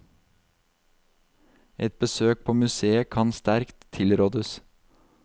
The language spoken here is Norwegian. Et besøk på museet kan sterkt tilrådes.